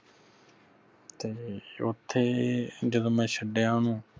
ਤੇ ਓਥੇ ਜਦੋ ਮੈਂ ਛਡਿਆ ਉਹਨੂੰ